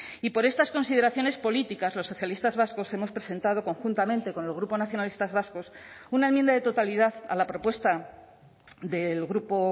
y por estas consideraciones políticas los socialistas vascos hemos presentado conjuntamente con el grupo nacionalistas vascos una enmienda de totalidad a la propuesta del grupo